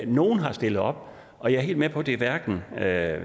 nogle har stillet op og jeg er helt med på at det hverken er